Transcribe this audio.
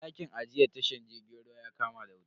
Dakin ajiyar tashar jirgin ruwan ya kama da wuta.